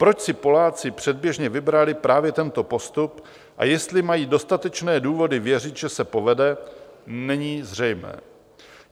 Proč si Poláci předběžně vybrali právě tento postup a jestli mají dostatečné důvody věřit, že se povede, není zřejmé.